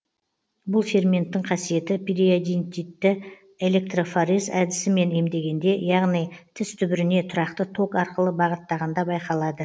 бұл ферменттің қасиеті периодинтитті электрофорез әдісімен емдегенде яғни тіс түбіріне тұрақты ток арқылы бағыттағанда байқалады